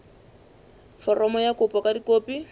foromo ya kopo ka dikopi